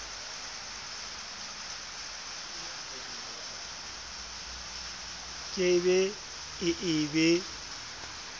ke be e e be